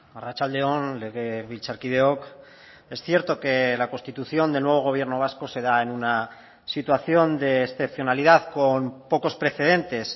arratsalde on legebiltzarkideok es cierto que la constitución del nuevo gobierno vasco se da en una situación de excepcionalidad con pocos precedentes